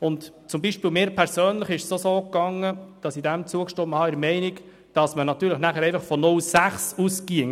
Mir erging es beispielsweise auch so, dass ich dem Antrag in der Meinung zugestimmt habe, man gehe danach natürlich von einer Gewerbegrenze von 0,6 SAK aus.